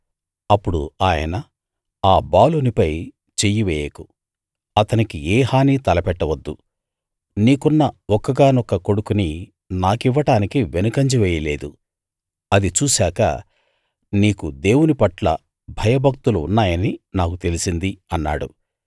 అప్పుడు ఆయన ఆ బాలునిపై చెయ్యి వేయకు అతనికి ఏ హానీ తలపెట్టవద్దు నీకున్న ఒక్కగానొక్క కొడుకుని నాకివ్వడానికి వెనుకంజ వేయలేదు అది చూశాక నీకు దేవునిపట్ల భయభక్తులు ఉన్నాయని నాకు తెలిసింది అన్నాడు